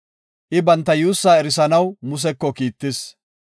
I banta yuussaa erisanaw Museko kiittis.